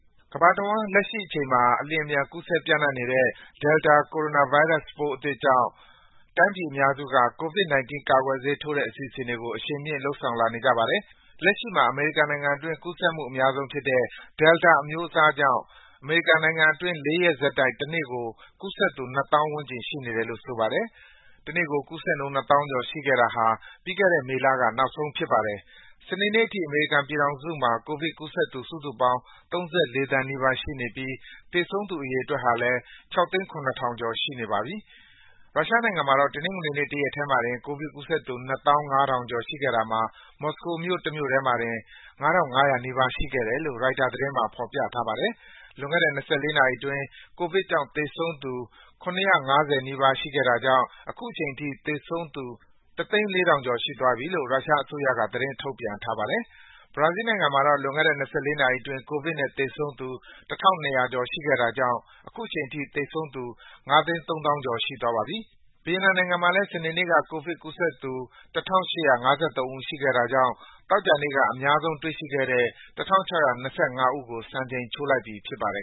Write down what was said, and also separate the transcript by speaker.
Speaker 1: ကမ္ဘာတဝန်း လက်ရှိအချိန်မှာ အလျှင်အမြန် ကူးစက်ပျံ့နှံ့နေတဲ့ Delta ကိုရိုနာဗိုင်းရပ်စ်ပိုး အသစ်ကြောင့် တိုင်းပြည်အများစုက COVID-19 ကာကွယ်ဆေးထိုးတဲ့ အစီအစဉ်တွေကို အရှိန်မြှင့် လုပ်ဆောင်လာနေကြပါတယ်။ လက်ရှိမှာ အမေရိကန်နိုင်ငံအတွင်း ကူးစက်မှုအများဆုံးဖြစ်တဲ့ Delta အမျိုးအစားကြောင့် အမေရိကန်နိုင်ငံအတွင်း ၄ ရက်ဆက်တိုက် တနေ့ကို ကူးစက်သူ ၂၀,၀၀၀ ဝန်းကျင် ရှိနေတယ်လို့ ဆိုပါတယ်။ တနေ့ကို ကူးစက်မှုနှုန်း ၂၀,၀၀၀ ကျော်ရှိခဲ့တာ ပြီးခဲ့တဲ့မေလက နောက်ဆုံးဖြစ်ပါတယ်။ စနေနေ့အထိ အမေရိကန်ပြည်ထောင်စုမှာ ကိုဗစ်ကူးစက်သူ စုစုပေါင်း ၃၄ သန်းနီးပါး ရှိနေပြီး သေဆုံးသူ အရေအတွက်ဟာလည်း ၆၀၇,၀၀၀ ကျော် ရှိနေပါပြီ။ ရုရှားနိုင်ငံမှာတော့ တနင်္ဂနွေနေ့ တရက်တည်းမှာတင် ကိုဗစ်ကူးစက်သူ ၂၅,၀၀၀ ကျော် ရှိခဲ့တာမှာ မြို့တော် မော်စကို တမြို့တည်းမှာတင် ၅,၅၀၀ နီးပါး ရှိခဲ့တယ်လို့ ရိုက်တာသတင်းမှာ ဖော်ပြထားပါတယ်။ လွန်ခဲ့တဲ့ ၂၄ နာရီအတွင်း ကိုဗစ်ကြောင့် သေဆုံးသူ ၇၅၀ နီးပါး ရှိခဲ့တာကြောင့် အခုချိန်ထိ ကိုဗစ်နဲ့သေဆုံးသူ ၁၀၄,၀၀၀ ကျော် ရှိသွားပြီလို့ ရုရှားအစိုးရက သတင်းထုတ်ပြန်ထားပါတယ်။ ဘရာဇီးလ်နိုင်ငံမှာတော့ လွန်ခဲ့တဲ့ ၂၄ နာရီအတွင်း ကိုဗစ်နဲ့သေဆုံးသူ ၁,၂၀၀ ကျော် ရှိခဲ့တာကြောင့် အခုချိန်ထိ သေဆုံးသူ ၅၃၀,၀၀၀ ကျော်ရှိသွားပြီ ဖြစ်ပါတယ်။ ဗီယက်နမ်နိုင်ငံမှာတော့ စနေနေ့က ကိုဗစ်ကူးစက်သူ ၁,၈၅၃ ဦး ရှိခဲ့တာကြောင့် သောကြာနေ့က အများဆုံးတွေ့ရှိခဲ့တဲ့ ၁,၆၂၅ ဦးကို စံချိန်ချိုးလိုက်ပြီ ဖြစ်ပါတယ်